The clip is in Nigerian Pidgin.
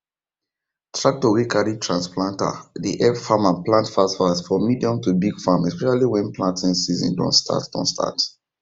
tractor wey carry trans planter dey help farmers plant fastfast for medium to big farm especially when planting season don start don start